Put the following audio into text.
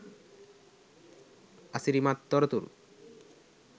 අසිරිමත් තොරතුරු